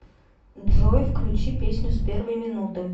джой включи песню с первой минуты